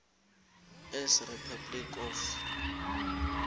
s republic of